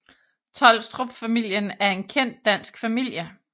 Tholstrup familien er en kendt dansk familie